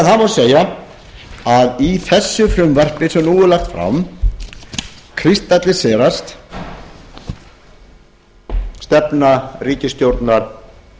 því segja að í þessu frumvarpi sem nú er lagt fram kristallist stefna ríkisstjórnar